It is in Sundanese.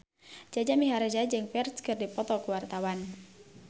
Jaja Mihardja jeung Ferdge keur dipoto ku wartawan